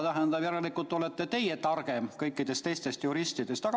Tähendab, järelikult olete teie targem kõikidest neist juristidest.